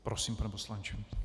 Prosím, pane poslanče.